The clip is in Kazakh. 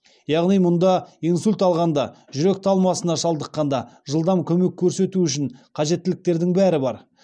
яғни мұнда инсульт алғанда жүрек талмасына шалдыққанда жылдам көмек көрсету үшін қажеттіліктердің бәрі бар